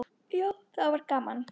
Já, það var gaman.